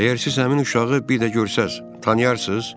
əgər siz həmin uşağı bir də görsəz, tanıyarsız?